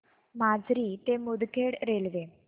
माजरी ते मुदखेड रेल्वे